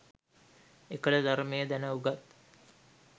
එකල ධර්මය දැන උගත්